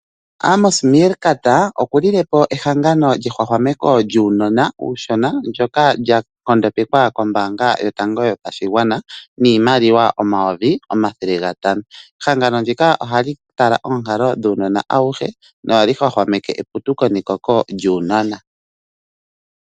Amos Meerkat oku lilepo ehangano lyehwahwameko lyuunona uushona ndyoka lya nkondopekwa kombaanga yotango yopashigwana niimaliwa omayovi omathele gatano. Ehangano ndika ohali tala oonkalo dhuunona awuhe, no hadhi hwahwameke eputuko nekoko lyuunona.